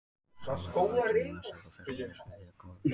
Sá verður á endanum vansæll og fer á mis við hið góða líf.